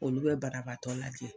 Olu bɛ barabaatɔ lajɛ.